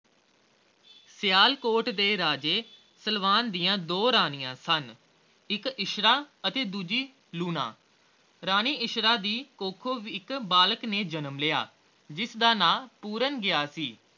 ਸਿਆਲਕੋਟ ਦੇ ਰਾਜੇ ਸਲਵਾਨ ਦੀਆ ਦੋ ਰਾਣੀਆਂ ਸਨ ਇਕ ਇੱਛਰਾਂ ਤੇ ਦੂਜੀ ਲੂਣਾ ਰਾਣੀ ਇੱਛਰਾਂ ਦੀ ਕੁੱਖੋਂ ਇਕ ਬਾਲਕ ਨੇ ਜਨਮ ਲਿਆ ਜਿਸਦਾ ਨਾਂ ਪੂਰਨ ਗਿਆ ਸੀ